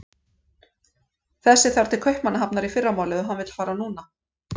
Þessi þarf til Kaupmannahafnar í fyrramálið og hann vill fara núna.